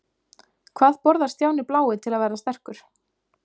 Hvað borðar Stjáni blái til að verða sterkur?